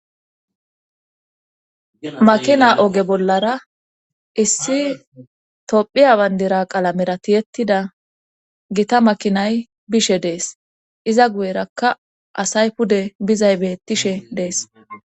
makina oge bollara issi tophiya bandira qalamera tiyettida gita makinay bishe dees iza guyerakka asay pude bizay beettishe dees